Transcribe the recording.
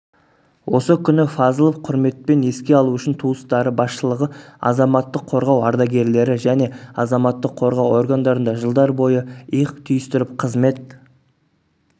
осы күні фазылов құрметпен еске алу үшін туыстары басшылығы азаматтық қорғау ардагерлері және азаматтық қорғау органдарында жылдар бойы иық түйістіріп қызмет